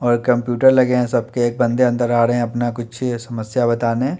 और कंप्यूटर लगे हैं सबके एक बन्दे अन्दर आ रहे हैं अपना कुछे समस्या बताने।